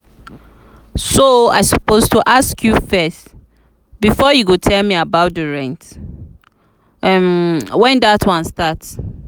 so i suppose ask you first before you go tell me about the rent? when dat one start?